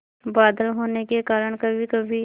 बादल होने के कारण कभीकभी